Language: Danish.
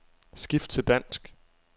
Skift til dansk.